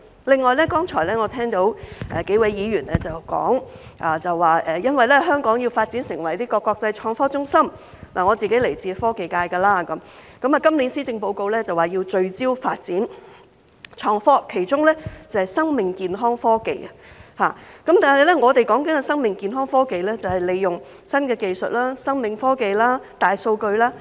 另外，我剛才聽到幾位議員表示，因為香港要發展成為國際創科中心——我是來自科技界的——今年施政報告說要聚焦發展創科，其中是生命健康科技，但我們所說的生命健康科技是利用新技術、生命科技、大數據。